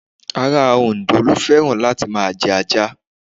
Ará Òǹdó ló fẹ́ràn láti máa jẹ ajá.